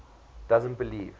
doesn t believe